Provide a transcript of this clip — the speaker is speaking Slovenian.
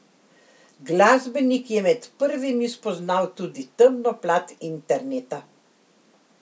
Glasbenik je med prvimi spoznal tudi temno plat interneta.